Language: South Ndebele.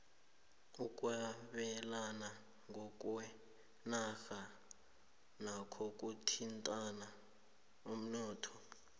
ukwebelana ngokweenarha nakho kuthinta umnotho